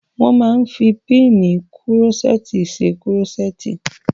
Wọ́n máa n fi pínnìì kúrọ́sẹ́ẹ̀tì ṣe kúrọ́sẹ́ẹ̀tì